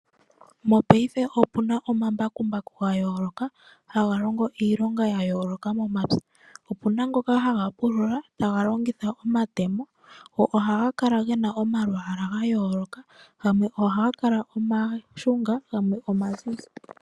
Mongashingeyi opuna omambakumbaku ga yooloka haga longo iilonga ya yooloka momapya. Opuna ngoka haga pulula taga longitha omatemo ohaga kala gena omalwaala ga yooloka gamwe ohaga kala omashunga gamwe omazizi.